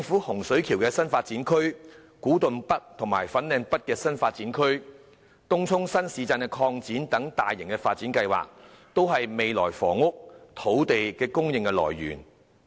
洪水橋新發展區、古洞北和粉嶺北新發展區、東涌新市鎮擴展等大型發展計劃，均是未來的房屋和土地供應來源。